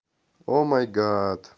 о май гад